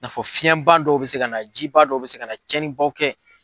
n'a fɔ fiyɛnba dɔw bɛ se ka na jiba dɔw bɛ se ka na cɛnnibaw kɛ.